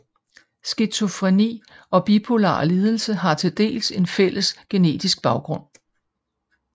Skizofreni og bipolar lidelse har til dels en fælles genetisk baggrund